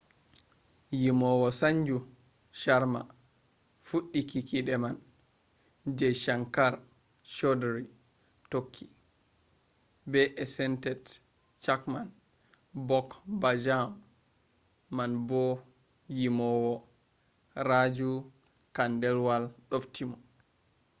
yimowo sanju sharma fuɗɗi kikiɗe man jai shankar choudhary tokki. be esented chhappan bhog bhajam man fu. yimowo raju khandelwal ɗofti mo